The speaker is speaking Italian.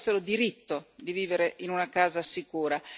Penso avessero diritto di vivere in una casa sicura.